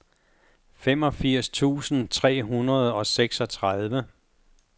femogfirs tusind tre hundrede og seksogtredive